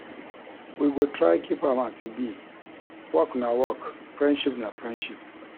We go try keep am as e be, work na work, friendship na friendship.